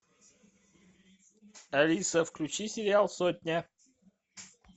алиса включи сериал сотня